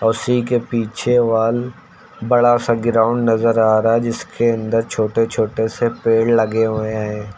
उसी के पीछे वाल बड़ा सा ग्राउंड नजर आ रहा है जिसके अंदर छोटे छोटे से पेड़ लगे हुए हैं।